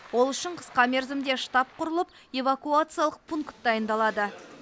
ол үшін қысқа мерзімде штаб құрылып эвакуациялық пункт дайындалады